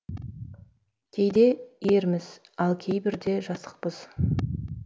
кейде ерміз ал кейбірде жасықпыз